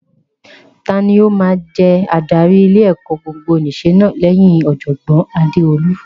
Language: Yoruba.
Tani ó máa jẹ adarí ilé-ẹ̀kọ́ gbogbonìṣe náà lẹ́yìn Ọ̀jọ̀gbọ́n Adeolu?